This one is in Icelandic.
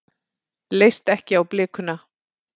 Leist ekki á blikuna.